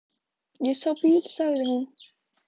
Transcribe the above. Ég sá bíl, sagði hún.